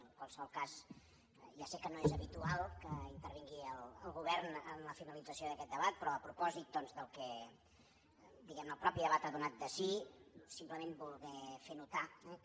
en qualsevol cas ja sé que no és habitual que intervingui el govern en la finalització d’aquest debat però a propòsit del que diguem ne el mateix debat ha donat de si simplement voler fer notar que